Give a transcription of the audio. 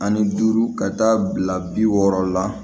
Ani duuru ka taa bila bi wɔɔrɔ la